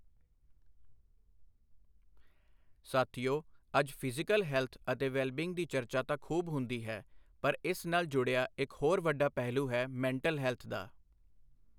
ਸਾਥੀਓ, ਅੱਜ physical health ਅਤੇ ਵੈਲਬੀਈਂਗ ਦੀ ਚਰਚਾ ਤਾਂ ਖੂਬ ਹੁੰਦੀ ਹੈ ਪਰ ਇਸ ਨਾਲ ਜੁੜਿਆ ਇੱਕ ਹੋਰ ਵੱਡਾ ਪਹਿਲੂ ਹੈ ਮੈਂਟਲ ਹੈਲਥ ਦਾ।